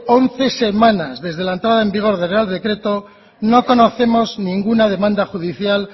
once semanas desde la entrada en vigor del real decreto no conocemos ninguna demanda judicial